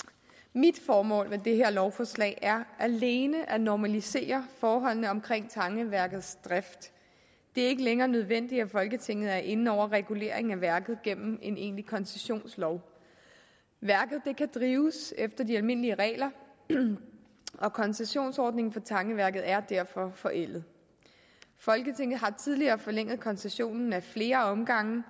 mit formål med det her lovforslag er alene at normalisere forholdene omkring tangeværkets drift det er ikke længere nødvendigt at folketinget er inde over reguleringen af værket gennem en egentlig koncessionslov værket kan drives efter de almindelige regler og koncessionsordningen for tangeværket er derfor forældet folketinget har tidligere forlænget koncessionen ad flere omgange